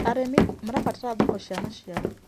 Arĩmĩ marabatara thoko cĩa macĩaro